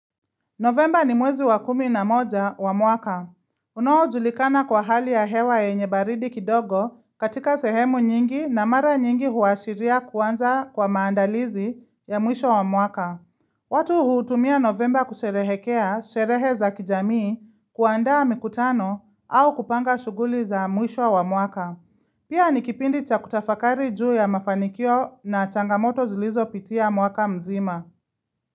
Novemba ni mwezi wa kumi na moja wa mwaka Unoojulikana kwa hali ya hewa yenye baridi kidogo katika sehemu nyingi na mara nyingi huashiria kuanza kwa maandalizi ya mwisho wa mwaka watu huutumia Novemba kusherehekea sherehe za kijamii kuandaa mikutano au kupanga shughuli za mwisho wa mwaka Pia ni kipindi cha kutafakari juu ya mafanikio na changamoto zilizopitia mwaka mzima.